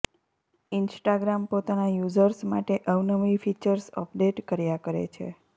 Instagram પોતાના users માટે અવનવી ફીચર્સ અપડેટ કર્યા કરે છે